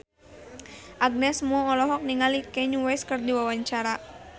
Agnes Mo olohok ningali Kanye West keur diwawancara